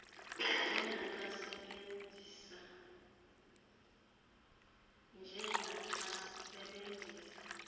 nje naxa sebenzisa